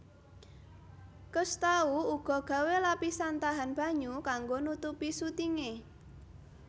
Cousteau uga gawé lapisan tahan banyu kanggo nutupi sutinge